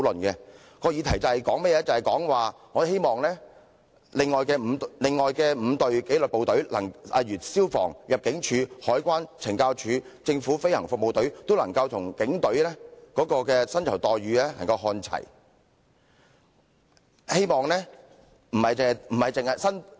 議題關於我們希望另外5支紀律部隊，即消防處、入境處、海關、懲教署及政府飛行服務隊，薪酬待遇都能與警隊看齊。